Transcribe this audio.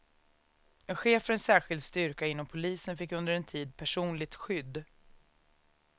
En chef för en särskild styrka inom polisen fick under en tid personligt skydd.